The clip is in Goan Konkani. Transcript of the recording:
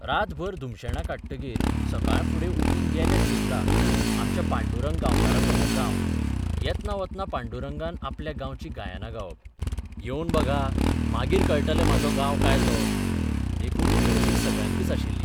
रातभर धुमशेणां कांडटकीर सकाळफुडें उठून गेले सुर्ला, आमच्या पांडुरंग गांवकाराचो हो गांव येतना वतना पांडुरंगान आपल्या गांवचीं गायनां गावप येवन बघा, मागीर कळटलें म्हाजो गांव काय तो देखून उमळशीक सगळ्यांकच आशिल्ली.